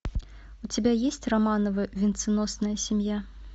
у тебя есть романовы венценосная семья